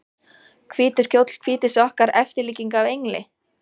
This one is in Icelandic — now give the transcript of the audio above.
hvítur kjóll hvítir sokkar eftirlíking af engli?